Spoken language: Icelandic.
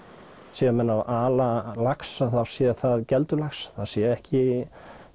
séu menn að ala lax að þá sé það geldur lax það sé ekki